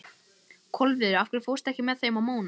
Kolviður, ekki fórstu með þeim?